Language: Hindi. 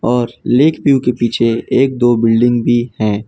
और लेक व्यू के पीछे एक दो बिल्डिंग भी हैं।